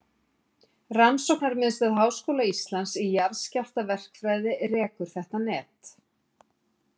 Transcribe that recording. Rannsóknarmiðstöð Háskóla Íslands í jarðskjálftaverkfræði rekur þetta net.